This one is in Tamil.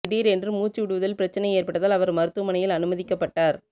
திடீர் என்று மூச்சு விடுவதில் பிரச்சனை ஏற்பட்டதால் அவர் மருத்துவமனையில் அனுமதிக்கப்பட்டார்